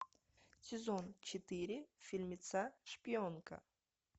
сезон четыре фильмеца шпионка